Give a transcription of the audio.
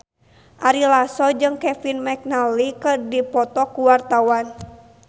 Ari Lasso jeung Kevin McNally keur dipoto ku wartawan